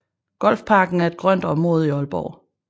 Golfparken er et grønt område i Aalborg